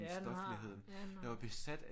Ja den har. Ja den har